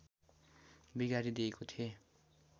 बिगारी दिएको थिएँ